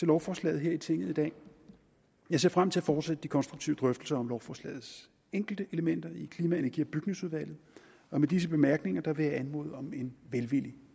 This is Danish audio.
lovforslaget her i tinget i dag jeg ser frem til at fortsætte de konstruktive drøftelser om lovforslagets enkelte elementer i klima energi og bygningsudvalget og med disse bemærkninger vil jeg anmode om en velvillig